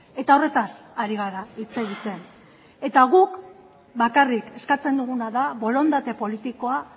eta horretaz ari gara hitz egiten eta guk bakarrik eskatzen duguna da borondate politikoa